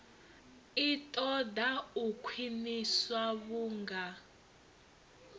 i ṱoḓa u khwiniswa vhunga